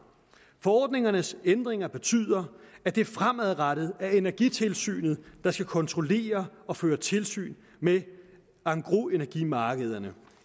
forordningernes ændringer betyder at det fremadrettet er energitilsynet der skal kontrollere og føre tilsyn med engrosenergimarkederne